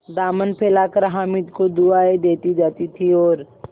दामन फैलाकर हामिद को दुआएँ देती जाती थी और